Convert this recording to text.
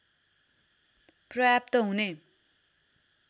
पर्याप्त हुने